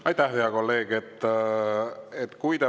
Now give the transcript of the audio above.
Aitäh, hea kolleeg!